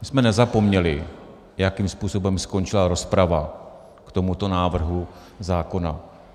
My jsme nezapomněli, jakým způsobem skončila rozprava k tomuto návrhu zákona.